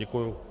Děkuji.